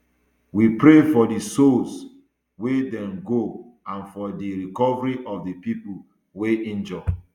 we pray for di souls wey don go and for di recovery of di pipo wey injure